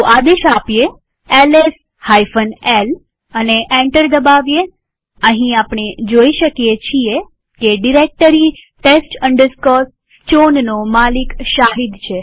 આદેશ LS l આપીએ અને એન્ટર દબાવીએઅહીં આપણે જોઈ શકીએ છીએ કે ડિરેક્ટરી test chownનો માલિક શાહિદ છે